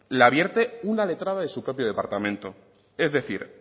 la vierte una letrada de su propio departamento es decir